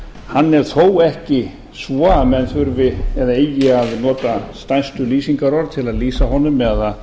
hann er þó ekki svo að menn þurfi eða eigi að nota stærstu lýsingarorð til að lýsa honum eða